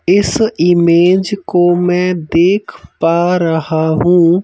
इस इमेज को मैं देख पा रहा हूं--